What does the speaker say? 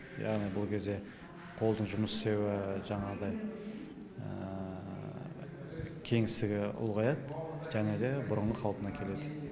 яғни бұл кезде қолдың жұмыс істеуі жаңағыдай кеңістігі ұлғаяды және де бұрынғы қалпына келеді